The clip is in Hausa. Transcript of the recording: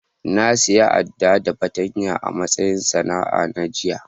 Na siya Adda da fatanya a'matsayin sana'a na jiya.